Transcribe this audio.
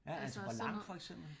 Altså sådan noget